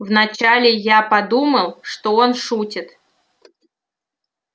вначале я подумал что он шутит